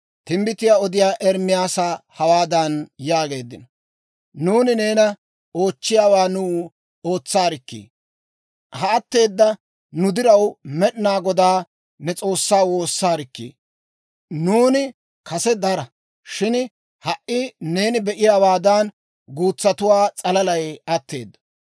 timbbitiyaa odiyaa Ermaasa hawaadan yaageeddino; «Nuuni neena oochchiyaawaa nuw ootsaarikkii! Ha atteeda nu diraw Med'inaa Godaa ne S'oossaa woossaarikkii! Nuuni kase dara; shin ha"i neeni be'iyaawaadan, guutsatuwaa s'alalay atteedo.